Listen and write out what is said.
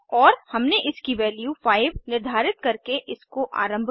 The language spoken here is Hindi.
और हमने इसकी वैल्यू 5 निर्धारित करके इसको आरम्भ किया